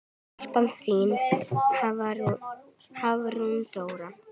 Stelpan þín, Hafrún Dóra.